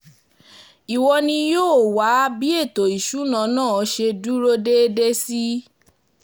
ìwọ ni yóò um wá bí ètò ìṣúná náà ṣe dúró ṣe dúró déédé sí